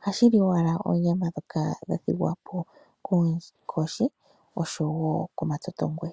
oha li owala oonyama ndhoka ha adha dhathigwapo koonkoshi osho woo komatotongwe.